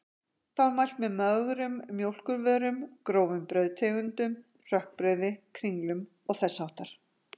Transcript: Þá er mælt með mögrum mjólkurvörum, grófum brauðtegundum, hrökkbrauði, kringlum og þess háttar.